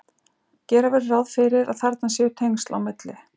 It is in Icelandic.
Gera verður ráð fyrir að þarna séu tengsl á milli.